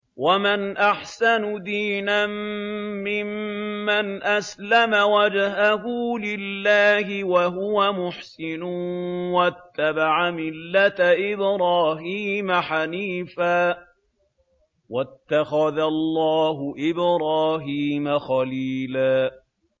وَمَنْ أَحْسَنُ دِينًا مِّمَّنْ أَسْلَمَ وَجْهَهُ لِلَّهِ وَهُوَ مُحْسِنٌ وَاتَّبَعَ مِلَّةَ إِبْرَاهِيمَ حَنِيفًا ۗ وَاتَّخَذَ اللَّهُ إِبْرَاهِيمَ خَلِيلًا